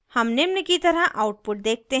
हम निम्न की तरह output देखते हैं